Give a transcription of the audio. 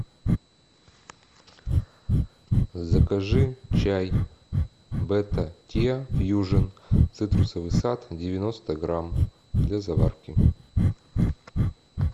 закажи чай бета тиа фьюжн цитрусовый сад девяносто грамм для заварки